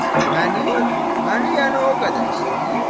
Məni? Məni yəni o qədər istəyir?